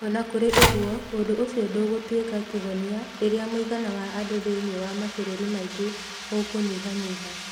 O na kũrĩ ũguo, ũndũ ũcio ndũgũtuĩka kĩhonia rĩrĩa mũigana wa andũ thĩinĩ wa mabũrũri maingĩ ũkũnyihanyiha.